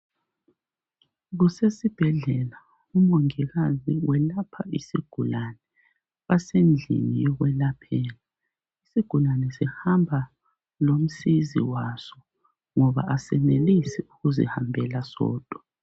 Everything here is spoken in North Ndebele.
kusesibhedlela umongikazi welapha isgulane. Basedlini yokwelaphela. Isigulane sihamba lomsizi waso ngoba asiyenelisi ukuzihambela sodwa.